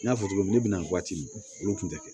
N y'a fɔ cogo min na ne bi na waati min olu kun te kɛ